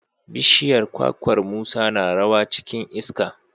bishiyar kwakwar Musa na rawa cikin iska.